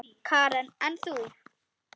Karen: En þú?